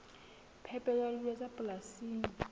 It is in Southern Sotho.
phepelo ya dijo tsa polasing